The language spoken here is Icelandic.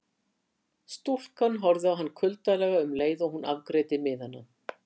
Stúlkan horfði á hann kuldalega um leið og hún afgreiddi miðana.